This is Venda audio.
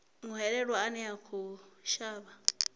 muhwelelwa ane a khou shavha